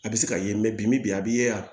A bɛ se ka ye mɛ bi bi a b'i ye yan